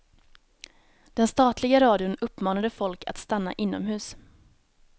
Den statliga radion uppmanade folk att stanna inomhus.